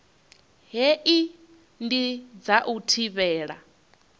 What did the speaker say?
hei ndi dza u thivhela